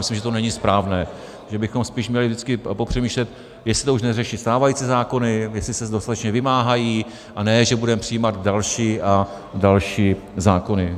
Myslím, že to není správné, že bychom spíš měli vždycky popřemýšlet, jestli to už neřeší stávající zákony, jestli se dostatečně vymáhají, a ne že budeme přijímat další a další zákony.